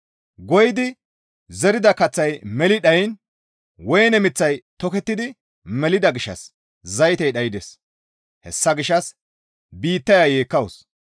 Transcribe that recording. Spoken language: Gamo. Goyidi zerida kaththay meli dhayiin woyne miththay tokettidi melida gishshas zaytey dhaydes; hessa gishshas biittaya yeekkawus.